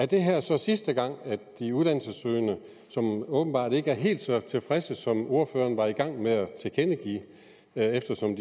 det her så er sidste gang at de uddannelsessøgende som åbenbart ikke er helt så tilfredse som ordføreren var i gang med at tilkendegive eftersom